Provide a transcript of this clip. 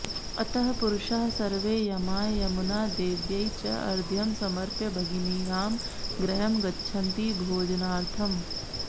अतः पुरुषाः सर्वे यमाय यमुनादेव्यै च अर्घ्यं समर्प्य भगिनीनां गृहं गच्छन्ति भोजनार्थम्